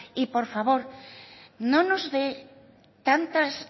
y por favor no nos dé tantas